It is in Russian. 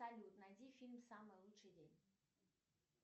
салют найди фильм самый лучший день